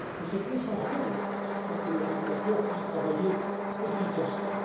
La chose est essentielle pour que le régulateur puisse travailler efficacement.